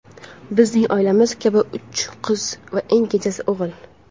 Bizning oilamiz kabi uch qiz va eng kenjasi o‘g‘il.